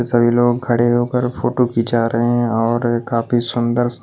सभी लोग खड़े होकर फोटो खींचा रहे हैं और काफी सुंदर--